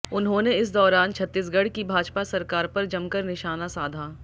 उन्होंने इस दौरान छत्तीसगढ़ की भाजपा सरकार पर जमकर निशाना साधा